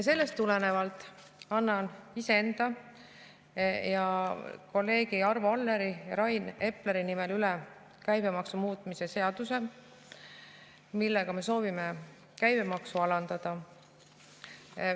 Sellest tulenevalt annan iseenda ja kolleegide Arvo Alleri ja Rain Epleri nimel üle käibemaksu muutmise seaduse, millega me soovime käibemaksu alandada.